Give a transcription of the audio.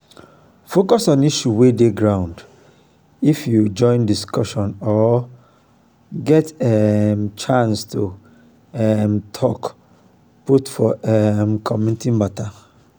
um you fit join body with oda pipo wey dey um di community make e no be like sey you dey alone you dey alone